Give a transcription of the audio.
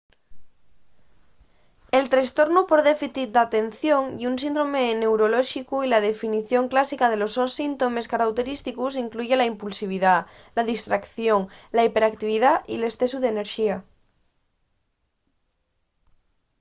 el trestornu por déficit d’atención ye un síndrome neurolóxicu y la definición clásica de los sos síntomes carauterísticos incluye la impulsividá la distraición la hiperactividá y l’escesu d’enerxía